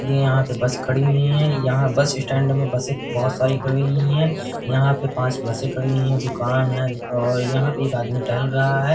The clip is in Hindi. ये यहाँ पे बस खड़ी हुई हैं। यहाँ बस स्टैंड में बसें बहोत सारी खड़ी हुई हैं। यहाँ पे पांच बसें खड़ी हुई हैं। दुकान है। यहाँ एक आदमी टहल रहा है।